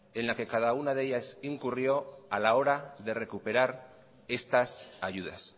en la que cada una de ellas incurrió a la hora de recuperar estas ayudas